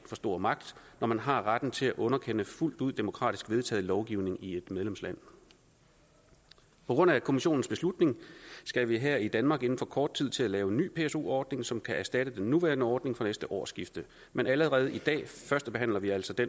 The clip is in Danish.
for stor magt når man har retten til at underkende fuldt ud demokratisk vedtaget lovgivning i et medlemsland på grund af kommissionens beslutning skal vi her i danmark inden for kort tid til at lave en ny pso ordning som kan erstatte den nuværende ordning fra næste årsskifte men allerede i dag førstebehandler vi altså det